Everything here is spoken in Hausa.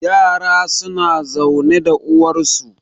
yara suna zaune da uwarsu